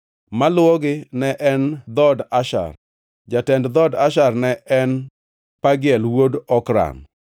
Maluwogi ne en dhood Asher. Jatend dhood Asher ne en Pagiel wuod Okran.